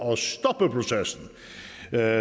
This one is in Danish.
er